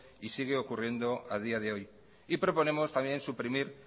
y sigue ocurriendo a día de hoy y proponemos también suprimir